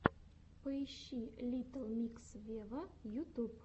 поищи литтл микс вево ютуб